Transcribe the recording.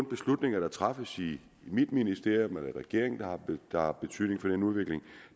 beslutninger der træffes i mit ministerium eller i regeringen der har betydning for den udvikling